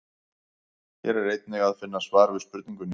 Hér er einnig að finna svar við spurningunni: